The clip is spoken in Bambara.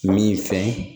Min fɛn